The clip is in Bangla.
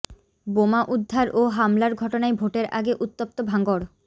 বোমা উদ্ধার ও হামলার ঘটনায় ভোটের আগে উত্তপ্ত ভাঙড়